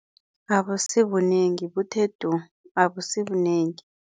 Abusibunengi buthe du, abusibunengi.